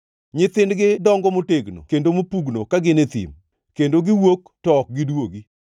Nyithindgi dongo motegno kendo mopugno ka gin e thim; kendo giwuok to ok giduogi.